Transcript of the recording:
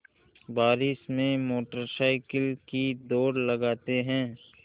बारिश में motorcycle की दौड़ लगाते हैं